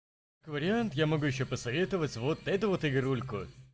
вариант я могу ещё посоветовать вот эту вот игрульку